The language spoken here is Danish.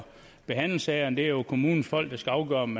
behandle sagerne det er jo kommunernes folk der skal afgøre om